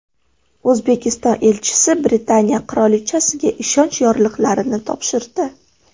O‘zbekiston elchisi Britaniya qirolichasiga ishonch yorliqlarini topshirdi.